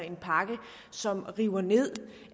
en pakke som river ned